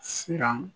Siran